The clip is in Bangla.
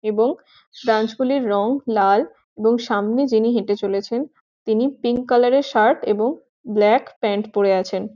এবং ব্রাঞ্চ গুলির রং লাল | এবং সামনে যিনি হেঁটে চলেছেন তিনি পিঙ্ক কালার -এ শার্ট এবং ব্ল্যাক প্যান্ট পরে আছেন।